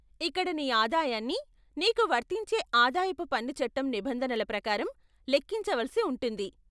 ఇక్కడ నీ ఆదాయాన్ని నీకు వర్తించే ఆదాయపు పన్ను చట్టం నిబంధనల ప్రకారం లెక్కించ వలసి ఉంటుంది.